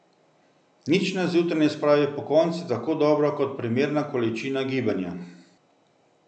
Nič nas zjutraj ne spravi pokonci tako dobro kot primerna količina gibanja.